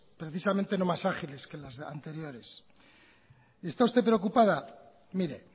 precisamente no más ágiles que las anteriores y está usted preocupada mire